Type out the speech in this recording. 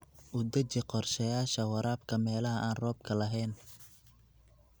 U deji qorshayaasha waraabka meelaha aan roobka lahayn.